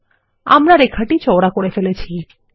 আমরা লাইনটি চওড়া করে ফেলেছি160